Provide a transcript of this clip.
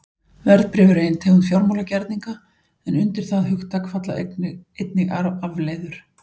Verðbréf eru ein tegund fjármálagerninga en undir það hugtak falla einnig afleiður.